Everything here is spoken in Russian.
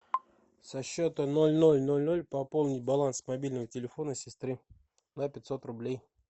со счета ноль ноль ноль ноль пополнить баланс мобильного телефона сестры на пятьсот рублей